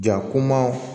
Ja kuma